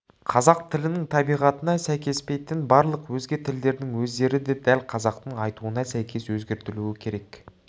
қазақ тілінің табиғатына сәйкеспейтін барлық өзге тілдердің сөздері дәл қазақтың айтуына сәйкес өзгертілуі керек